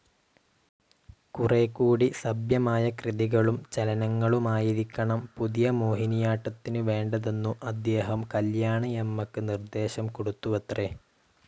കുറേക്കൂടി സഭ്യമായ കൃതികളും ചലനങ്ങളുമായിരിക്കണം പുതിയ മോഹിനിയാട്ടത്തിനു വേണ്ടതെന്നു അദ്ദേഹം കല്യാണിയമ്മക്ക് നിർദ്ദേശം കൊടുത്തുവത്രേ.